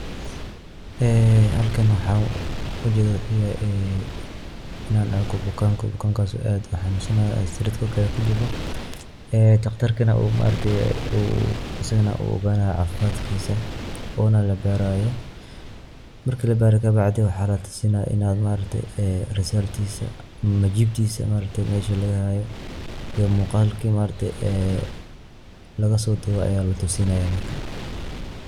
Ee halkaan waxan ujeedo wuxu yahay ee inaan arkoo bukaan. bukaankas oo aad uu xanunsanaayo oo sariirta korkeeda kuu jiifo ee taqtaarkina uu maragtee uu asaganaa uu oganaayo cafimaadkisa onaa laa baraayo. maarki laa baaro kaa bacdii waxa laa tusinayaa inaa maaragte ee result tiisa majibtiisa maaragte meshaa lagaa haayo iyo muuqalka maaragte ee lagaa soo duuwe ayaa laa tusinayaa markaa.